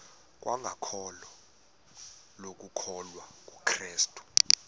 kwangokholo lokukholwa kukrestu